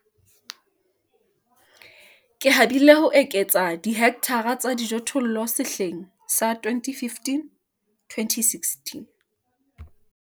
Ke habile ho eketsa dihekthara ka dijothollo sehleng sa 2015 2016.